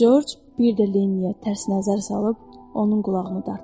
Corc bir də Lenniyə tərs nəzər salıb, onun qulağını dartdı.